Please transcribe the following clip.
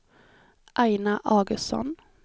Aina Augustsson